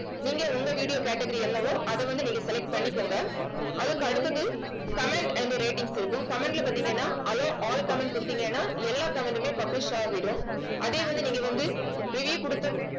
நீங்க உங்க video category என்னவோ அதை வந்து நீங்க select பண்ணிக்கோங்க அதுக்கு அடுத்தது comment and ratings இருக்கும் comment ல பார்த்தீங்கன்னா allow all comment கொடுத்தீங்கன்னா எல்லா comment மே publish ஆகிடும். அதையும் வந்து நீங்க வந்து review கொடுத்து